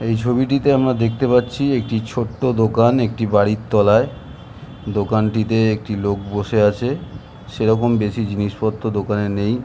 এই ছবিটিতে আমরা দেখতে পাচ্ছি একটি ছোট্ট দোকান একটি বাড়ির তলায় দোকানটিতে একটি লোক বসে আছে সেরকম বেশি জিনিসপত্র দোকানে নেই।